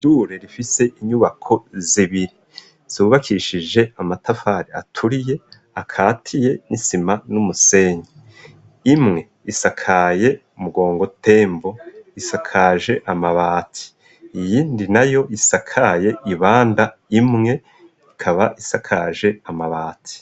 Ishure rifise inyubako zibiri, zubakishije amatafari aturiye akatiye n'isima n'umusenyi imwe isakaye mugongotembo, isakaje amabati iyindi na yo isakaye ibanda imwe ikaba isakaje amabati.